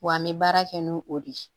Wa an bɛ baara kɛ n'o o de ye